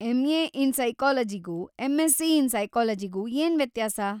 M A. In ಸೈಕಾಲಜಿಗೂ M Sc. In ಸೈಕಾಲಜಿಗೂ ಏನ್‌ ವ್ಯತ್ಯಾಸ?